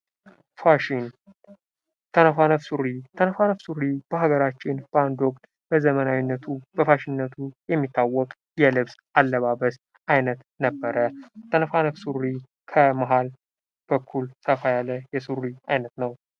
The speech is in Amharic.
ፋሽን ተነፋነፍ ሱሪ: ተነፋነፍ ሱሪ በሀገራችን ባንድ ወቅት በዘመናዊነቱ በፋሽንነቱ የሚታወቅ የልብስ አለባበስ አይነት ነበረ:: ተነፋነፍ ሱሪ ከመሃል በኩል ከፍ ያለ የሱሪ አይነት ነው::